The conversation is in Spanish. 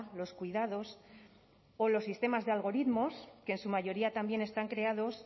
los cuidados o los sistemas de algoritmos que en su mayoría también están creados